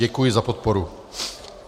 Děkuji za podporu.